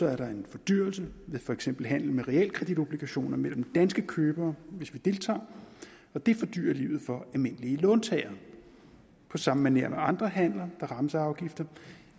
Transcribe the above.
er der en fordyrelse ved for eksempel handel med realkreditobligationer mellem danske købere hvis vi deltager og det fordyrer livet for almindelige låntagere på samme maner som andre handler der rammes af afgifter